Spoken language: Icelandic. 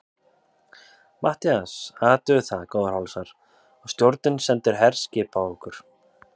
MATTHÍAS: Athugið það, góðir hálsar, að stjórnin sendir herskip á okkur!